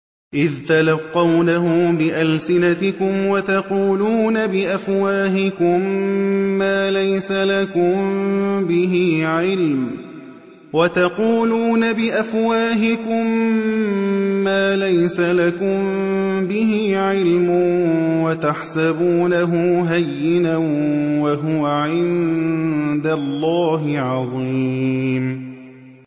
إِذْ تَلَقَّوْنَهُ بِأَلْسِنَتِكُمْ وَتَقُولُونَ بِأَفْوَاهِكُم مَّا لَيْسَ لَكُم بِهِ عِلْمٌ وَتَحْسَبُونَهُ هَيِّنًا وَهُوَ عِندَ اللَّهِ عَظِيمٌ